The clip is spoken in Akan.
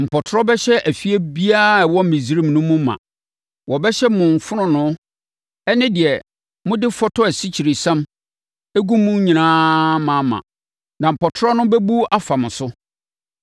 Mpɔtorɔ bɛhyɛ efie biara a ɛwɔ Misraim no mu ma. Wɔbɛhyɛ mo fononoo ne deɛ mode fɔtɔ asikyiresiam gu mu nyinaa ma ma. Na mpɔtorɔ no bɛbu afa mo so.’ ”